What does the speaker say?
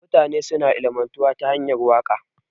Mutane suna ilimantuwa da hanyar waka.